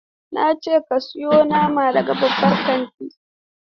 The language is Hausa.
Na ce ka siyo nama daga babban kantin!